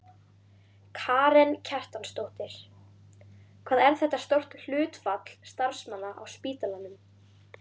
Karen Kjartansdóttir: Hvað er þetta stórt hlutfall starfsmanna á spítalanum?